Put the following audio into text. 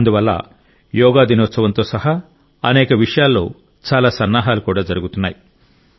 అందువల్ల యోగా దినోత్సవం తో సహా అనేక విషయాల్లో చాలా సన్నాహాలు కూడా జరుగుతున్నాయి